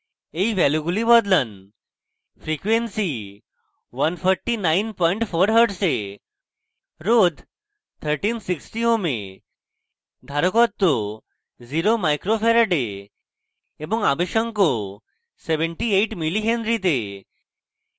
এই ভ্যালুগুলি বদলান